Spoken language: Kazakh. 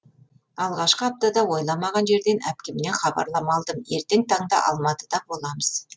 алғашқы аптада ойламаған жерден әпкемнен хабарлама алдым ертең таңда алматыда боламыз